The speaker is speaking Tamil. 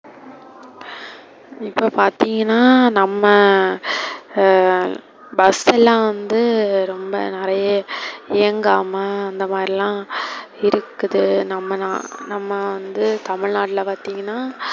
இப்ப பாத்திங்கனா நம்ம ஹம் bus எல்லாம் வந்து ரொம்ப நெறைய இயங்காம அந்த மாதிரிலாம் இருக்குது. ந~நம்ம வந்து தமிழ்நாடுல பாத்திங்கனா,